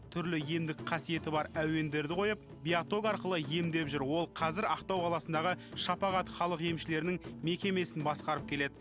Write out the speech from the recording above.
түрлі емдік қасиеті бар әуендерді қойып биаток арқылы емдеп жүр ол қазір ақтау қаласындағы шапағат халық емшілерінің мекемесін басқарып келеді